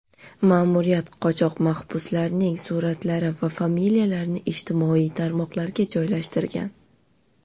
Ma’muriyat qochoq mahbuslarning suratlari va familiyalarini ijtimoiy tarmoqlarga joylashtirgan.